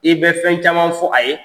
I bɛ fɛn caman fɔ a ye.